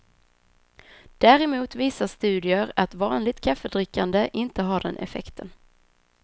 Däremot visar studier att vanligt kaffedrickande inte har den effekten.